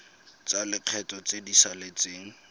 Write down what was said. tsa lekgetho tse di saletseng